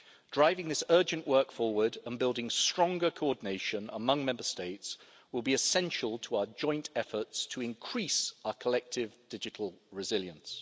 Driving this urgent work forward and building stronger coordination among Member States will be essential to our joint efforts to increase our collective digital resilience.